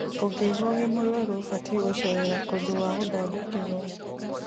Ungiigua wi muruaru ubatie gucerera kundu gwa guthondekerwo